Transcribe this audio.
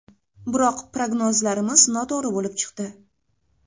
Biroq prognozlarimiz noto‘g‘ri bo‘lib chiqdi.